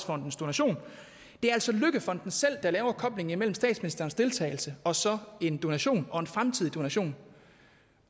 fondens donation det er altså løkkefonden selv der laver koblingen mellem statsministerens deltagelse og så en donation og en fremtidig donation